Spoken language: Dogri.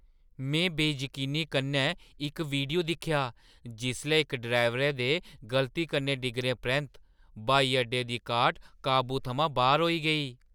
में बेजकीनी कन्नै इक वीडियो दिक्खेआ जिसलै इक ड्राइवरै दे गलती कन्नै डिग्गने परैंत्त ब्हाई अड्डे दी कार्ट काबू थमां बाह्‌र होई गेई।